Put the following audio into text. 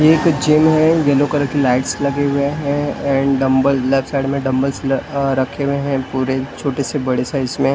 ये कुछ जिम है येल्लो कलर के लाइटस लगे हुए है एण्ड डंबल लेफ्ट साइड में डंबलस ल अ रखे हुए है पूरे छोटे से बड़े साइज़ में --